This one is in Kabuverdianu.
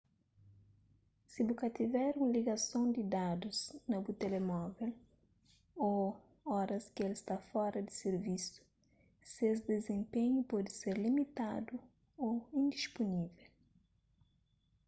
si bu ka tiver un ligason di dadus pa bu telemovel ô oras ki el sta fora di sirvisu ses dizenpenhu pode ser limitadu ô indispunível